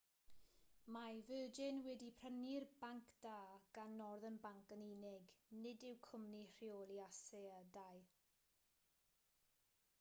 mae virgin wedi prynu'r banc da gan northern bank yn unig nid y cwmni rheoli asedau